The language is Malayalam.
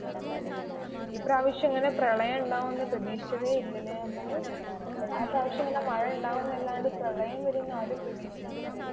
ഈ പ്രാവിശ്യം ഇങ്ങനെ പ്രളയം ഉണ്ടാകുന്ന് പ്രതീഷിച്ചതേ ഇല്ല അല്ലെ നമ്മള്. എല്ലാ പ്രാവിശ്യം ഇങ്ങനെ മഴ ഉണ്ടാകുന്ന് അല്ലാതെ പ്രളയം വരുpന്ന ആരും പ്രതിഷിച്ചിട്ടില്ലായിരുന്നു.